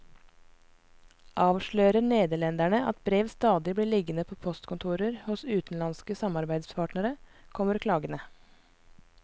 Avslører nederlenderne at brev stadig blir liggende på postkontor hos utenlandske samarbeidspartnere, kommer klagene.